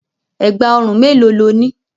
Ẹ̀gbà òrun mélòó lo ní?